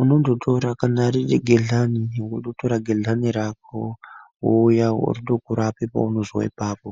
unondotora kana riri gehlani wondotora gehlani rako wouya wondorape paunozwa ipapo.